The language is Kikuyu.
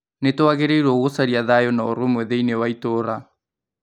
Nĩtwagĩrĩirwo gũcaria thayũ na ũrũmwe thĩini wa itũra